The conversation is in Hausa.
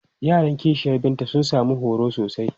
Yaran ƙishiyar Binta sun sami horo sosai.